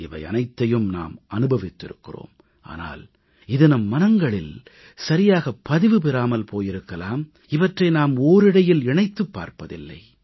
இவை அனைத்தையும் நாம் அனுபவித்திருக்கிறோம் ஆனால் இது நம் மனங்களில் சரியாகப் பதிவு பெறாமல் போயிருக்கலாம் இவற்றை நாம் ஓரிழையில் இணைத்துப் பார்ப்பதில்லை